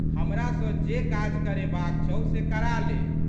हमरा सँ जे काज करेबाक छौ से करा ले।